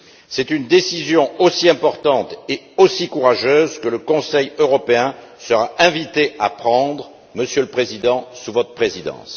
C'est une décision aussi importante et aussi courageuse que le Conseil européen sera invité à prendre, Monsieur le Président, sous votre présidence.